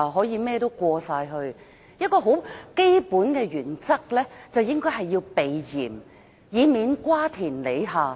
"一項很基本的原則就是應該避嫌，以免瓜田李下。